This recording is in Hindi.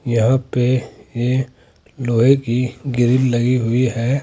यहां पे ये लोहे की ग्रिल लगी हुई है।